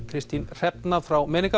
Kristín Hrefna frá